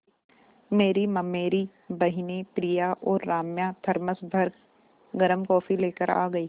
मेरी ममेरी बहिनें प्रिया और राम्या थरमस भर गर्म कॉफ़ी लेकर आ गईं